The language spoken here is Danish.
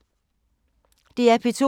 DR P2